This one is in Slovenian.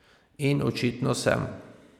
In očitno sem.